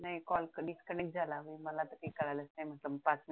नाही call disconnect झाला त्याच्यामुळे कळलंच नाही मला रात्री